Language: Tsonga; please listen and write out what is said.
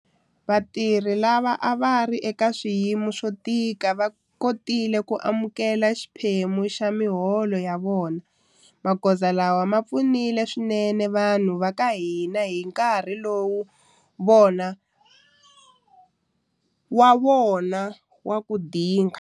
Vatirhi lava a va ri eka swiyimo swo tika va kotile ku amukela xiphemu xa miholo ya vona. Magoza lawa ma pfunile swinene vanhu va ka hina hi nkarhi wa vona wa ku dinga.